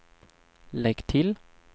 lägg till